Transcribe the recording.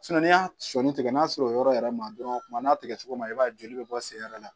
n'i y'a sɔɔni tigɛ n'a sera o yɔrɔ yɛrɛ ma dɔrɔn kuma n'a tigɛ cogo ma i b'a ye joli bɛ bɔ sen yɛrɛ la